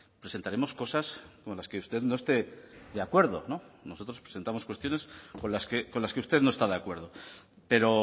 presentaremos cosas con las que usted no esté de acuerdo nosotros presentamos cuestiones con las que usted no está de acuerdo pero